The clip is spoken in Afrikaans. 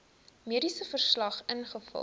mediese verslag invul